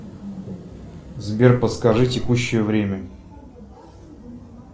сбер подскажи текущее время